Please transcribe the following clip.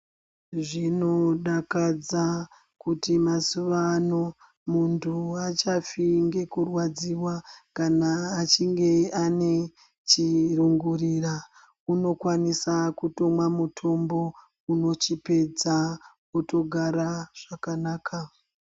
Zvinodakadza kuti mazuvano muntu aachafi ngekurwadziwa kana achinge ane chirongorira unokwanisa kutomwa mutombo unochipedza otogara zvakanaka.